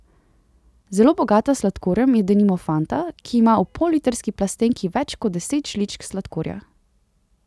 Zelo bogata s sladkorjem je denimo Fanta, ki ima v pollitrski plastenki več kot deset žličk sladkorja.